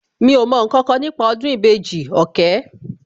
Mi ò mọ ǹkankan nípa ọdún ìbejì, òkè